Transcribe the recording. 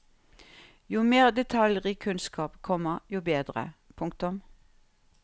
Jo mer detaljrik kunnskap, komma jo bedre. punktum